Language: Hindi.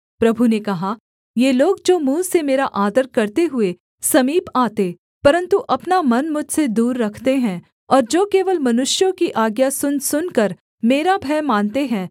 प्रभु ने कहा ये लोग जो मुँह से मेरा आदर करते हुए समीप आते परन्तु अपना मन मुझसे दूर रखते हैं और जो केवल मनुष्यों की आज्ञा सुन सुनकर मेरा भय मानते हैं